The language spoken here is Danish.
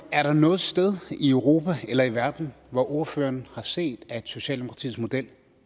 er der noget sted i europa eller i verden hvor ordføreren har set at socialdemokratiets model